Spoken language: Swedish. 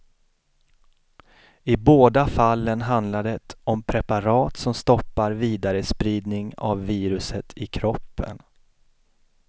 I båda fallen handlar det om preparat som stoppar vidarespridning av viruset i kroppen.